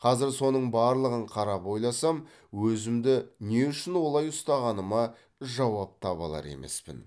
қазір соның барлығын қарап ойласам өзімді не үшін олай ұстағаныма жауап таба алар емеспін